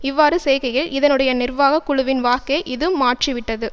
இவ்வாறு செய்கையில் இதனுடைய நிர்வாக குழுவின் வாக்கை இது மாற்றிவிட்டது